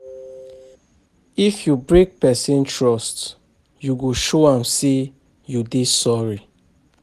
If you break pesin trust, you go show am sey you dey sorry.